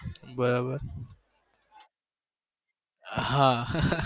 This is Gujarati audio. બરાબર હાં